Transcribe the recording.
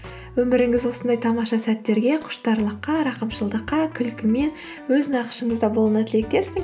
өміріңіз осындай тамаша сәттерге құштарлыққа рақымшылдыққа күлкі мен өз нақышыңызда болуына тілектеспін